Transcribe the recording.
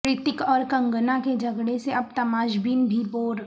رتک اور کنگنا کے جھگڑے سے اب تماش بین بھی بور